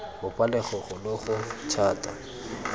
bopa logogo lo lo thata